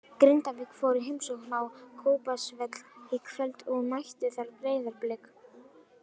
Grindavík fór í heimsókn á Kópavogsvöll í kvöld og mættu þar Breiðablik.